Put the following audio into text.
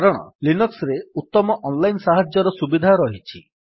କାରଣ ଲିନକ୍ସ୍ ରେ ଉତ୍ତମ ଅନ୍ ଲାଇନ୍ ସାହାଯ୍ୟର ସୁବିଧା ରହିଛି